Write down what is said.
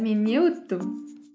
мен не ұттым